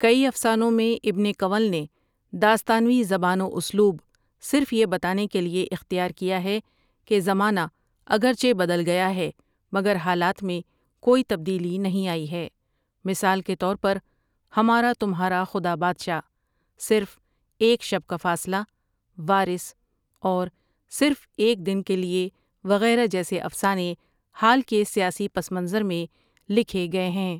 کئی افسانوں میں ابن کنول نے داستانوی زبان و اسلوب صرف یہ بتانے کے لیے اختیار کیا ہے کہ زمانہ اگرچہ بدل گیا ہے مگر حالات میں کوئی تبدیلی نہیں آئی ہے مثال کے طور پر ہمارا تمہارا خدا بادشاہ ، صرف ایک شب کا فاصلہ ، وارث ، اور صرف ایک دن کے لیے وغیرہ جیسے افسانے حال کے سیاسی پس منظر میں لکھے گئے ہیں ۔